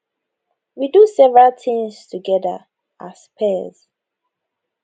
we do several tins together as peers